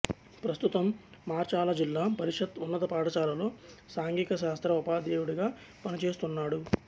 ప్రస్తుతం మార్చాల జిల్లా పరిషత్ ఉన్నత పాఠశాలలో సాంఘిక శాస్త్ర ఉపాధ్యాయుడిగా పనిచేస్తున్నాడు